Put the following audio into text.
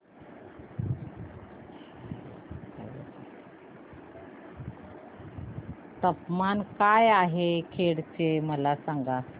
तापमान काय आहे खेड चे मला सांगा